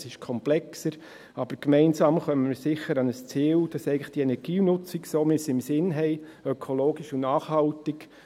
Es ist komplexer, aber gemeinsam kommen wir sicher an ein Ziel, damit die Energienutzung eigentlich so, wie wir sie im Sinn haben, ökologisch und nachhaltig …